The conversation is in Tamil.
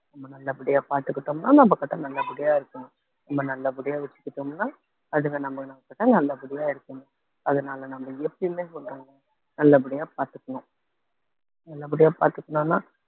நம்ம நல்லபடியா பார்த்துக்கிட்டோம்ன்னா நம்ம கிட்ட நல்லபடியா இருக்கும் நம்ப நல்லபடியா வச்சுக்கிட்டோம்ன்னா அதுங்க நம்ம நமக்கிட்ட நல்லபடியா இருக்குங்க அதனால நம்ம எப்பயுமே சொல்றேன் நல்லபடியா பார்த்துக்கணும் நல்லபடியா பாத்துக்கணும்னா